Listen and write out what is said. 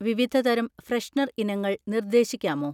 വിവിധ തരം ഫ്രെഷ്നർ ഇനങ്ങൾ നിർദ്ദേശിക്കാമോ?